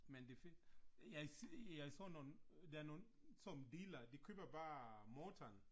Men det fedt. Jeg jeg så nogle, der nogle sådan nogle delere, de køber bare motoren